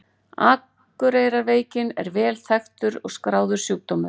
Akureyrarveikin er vel þekktur og skráður sjúkdómur.